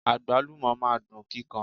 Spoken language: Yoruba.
Agbalumo máa ń dun kíkan.